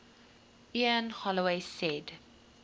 ian holloway said